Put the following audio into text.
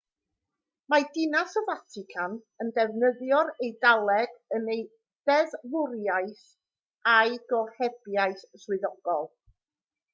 mae dinas y fatican yn defnyddio'r eidaleg yn ei deddfwriaeth a'i gohebiaeth swyddogol